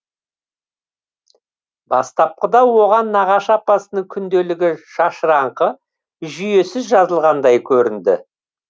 бастапқыда оған нағашы апасының күнделігі шашыраңқы жүйесіз жазылғандай көрінді